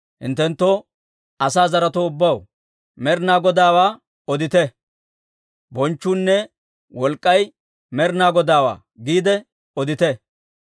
Hinttenttoo, asaa zaretoo ubbaw, Med'inaa Godaawaa odite; «Bonchchuunne wolk'k'ay Med'inaa Godaawaa» giide odite.